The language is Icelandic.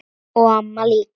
Já, og mamma líka.